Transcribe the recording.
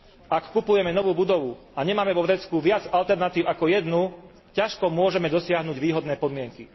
Ak kupujeme novú budovu a nemáme vo vrecku viac alternatív ako jednu, ťažko môžeme dosiahnuť výhodné podmienky.